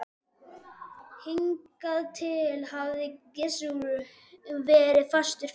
Hingað til hafði Gizur verið fastur fyrir.